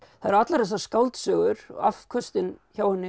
það eru allar þessar skáldsögur afköstin hjá henni eru